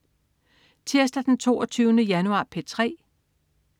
Tirsdag den 22. januar - P3: